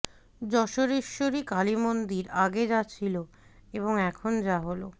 যশোরেশ্বরী কালীমন্দির আগে যা ছিল এবং এখন যা হল